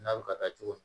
N'a bɛ ka taa cogo di